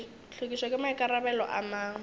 hlwekišo ke maikarabelo a mang